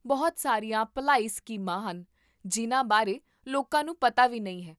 ਬਹੁਤ ਸਾਰੀਆਂ ਭਲਾਈ ਸਕੀਮਾਂ ਹਨ ਜਿਨ੍ਹਾਂ ਬਾਰੇ ਲੋਕਾਂ ਨੂੰ ਪਤਾ ਵੀ ਨਹੀਂ ਹੈ